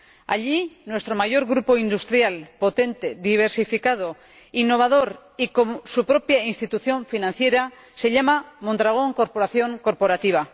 Allí, nuestro mayor grupo industrial, potente, diversificado, innovador y con su propia institución financiera se llama Mondragón Corporación Cooperativa.